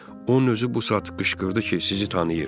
Onun özü bu saat qışqırdı ki, sizi tanıyır.